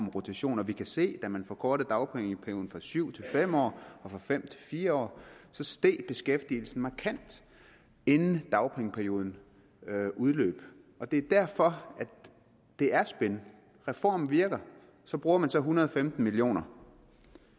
rotation og vi kan se at da man forkortede dagpengeperioden fra syv år til fem år og fra fem år til fire år steg beskæftigelsen markant inden dagpengeperioden udløb det er derfor at det er spin reformen virker så bruger man en hundrede og femten million kr og